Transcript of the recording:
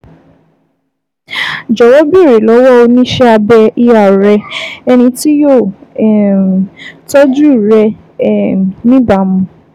Jọ̀wọ́ béèrè lọ́wọ́ oníṣẹ́ abẹ ER rẹ, ẹni tí yóò um tọ́jú rẹ̀ um níbàámu